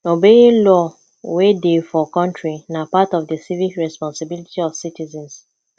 obeying law wey dey for country na part of di civic responsibility of citizens